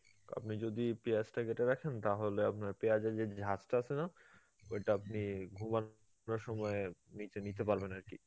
আপনি যদি পিয়াজটা কেটে রাখেন, তাহলে আপনার পিয়াজে যে ঝাঝটা আছে না ঐটা আপনি ঘুমানোর সময় নিজে নিতে পারবেন আরকি